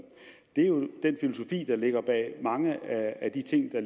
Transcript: det er jo den filosofi der ligger bag mange af de ting der